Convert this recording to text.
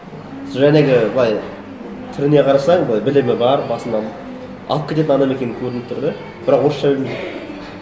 сол жаңағы былай түріне қарасаң былай білімі бар басында алып кететін адам екені көрініп тұр да бірақ орысша білмейді